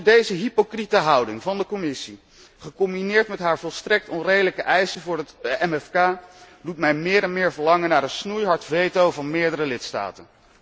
Deze hypocriete houding van de Commissie, gecombineerd met haar volstrekt onredelijke eisen voor het MFK, doet mij meer en meer verlangen naar een snoeihard veto van meerdere lidstaten.